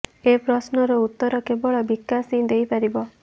ଏ ପ୍ରଶ୍ନର ଉତ୍ତର କେବଳ ବିକାଶ ହିଁ ଦେଇ ପାରିବ